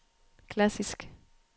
klassisk